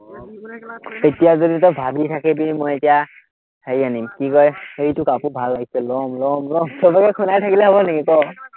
এতিয়া যদি তই ভাৱি থাকিবি, মই এতিয়া হেৰি আনিম, কি কয় এইটো কাপোৰ ভাল লাগিছে লম, লম, লম, চবকে শুনাই থাকিলে হব নেকি ক,